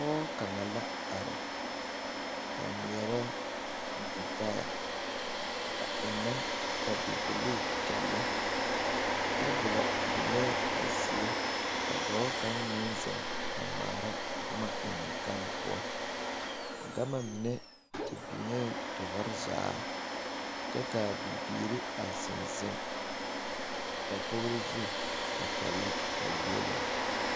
Pɔge kaŋa la a are a ŋmeɛrɛ gyetaɛ a ennɛ ka bibilii a kyɛnlɛ tebolo biŋɛɛ a zie ka dɔɔ kaŋ meŋ zeŋ a ŋmaara boma ennɛ gane poɔ gama mine te biŋee tɔɔre zaa kyɛ ka a bibiiri a zeŋ zeŋ dakogri zu a kyɛnlɛ a yieluŋ..